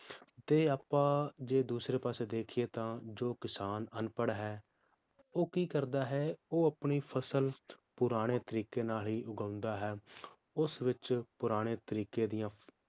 ਤੇ ਆਪਾਂ ਜੇ ਦੂਸਰੇ ਪਾਸੇ ਦੇਖੀਏ ਤਾਂ ਜੋ ਕਿਸਾਨ ਅਪਨਪੜ੍ਹ ਹੈ ਉਹ ਕਿ ਕਰਦਾ ਹੈ ਉਹ ਆਪਣੀ ਫਸਲ ਪੁਰਾਣੇ ਤਰੀਕੇ ਨਾਲ ਹੀ ਉਗਾਉਂਦਾ ਹੈ ਉਸ ਵਿਚ ਪੁਰਾਣੇ ਤਰੀਕੇ ਦੀਆਂ